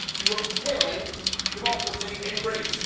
You have killed democracy in Greece.